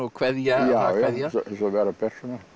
kveðja já eins og vera ber